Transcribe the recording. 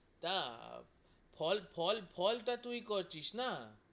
না, ফল ফল ফল তা তুই করছিস না,